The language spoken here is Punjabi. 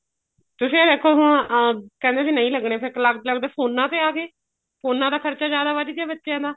ਤੁਸੀ ਇਹ ਦੇਖੋ ਹੁਣ ਕਹਿੰਦੇ ਵੀ ਨਹੀਂ ਲੱਗਣੇ ਫੇਰ ਕਰਦੇ ਕਰਦੇ ਫੋਨਾ ਤੇ ਆ ਗਏ ਫੋਨਾ ਦਾ ਖ਼ਰਚਾ ਜਿਆਦਾ ਵੱਧ ਗਿਆ ਬੱਚਿਆ ਦਾ